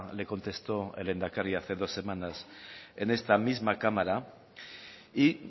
le contestó el lehendakari hace dos semanas en esta misma cámara y